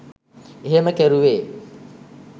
එහෙම කෙරුවේ